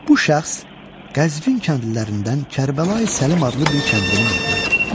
Bu şəxs Qəzvin kəndlilərindən Kərbəlayi Səlim adlı bir kəndlinin oğlu idi.